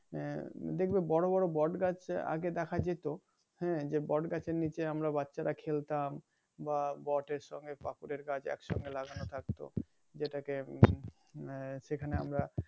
দেখবে বড় বড় বটগাছ আগে দেখা যেত যে বট গাছের নিচে আমরা বাচ্চারা খেলতাম বা বটের সঙ্গে বাকুরের গাছ একসঙ্গে লাগানো থাকতো যেটাকে উম সেখানে আমরা